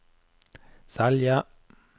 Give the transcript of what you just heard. Selje